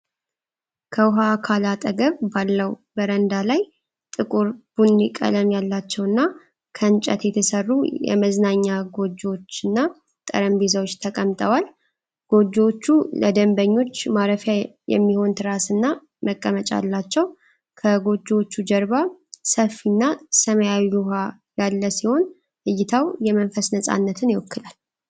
ከውኃ አካል አጠገብ ባለው በረንዳ ላይ፣ ጥቁር ቡኒ ቀለም ያላቸውና ከእንጨት የተሠሩ የመዝናኛ ጎጆዎች እና ጠረጴዛዎች ተቀምጠዋል። ጎጆዎቹ ለደንበኞች ማረፊያ የሚሆን ትራስና መቀመጫ አላቸው። ከጎጆዎቹ ጀርባ ሰፊና ሰማያዊ ውሃ ያለ ሲሆን፣ እይታው የመንፈስን ነፃነት ይወክላል፡፡